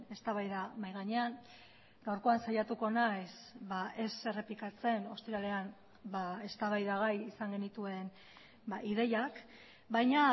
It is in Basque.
eztabaida mahai gainean gaurkoan saiatuko naiz ez errepikatzen ostiralean eztabaida gai izan genituen ideiak baina